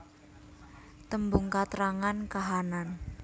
Tembung katrangan kahanan